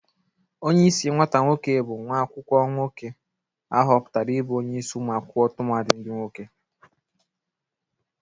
Onyeisi nwata nwoke bụ nwa akwụkwọ nwoke ahụpụtara ibụ onyeisi ụmụ akwụkwọ tụmadị ndị nwoke.